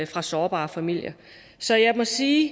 fra sårbare familier så jeg må sige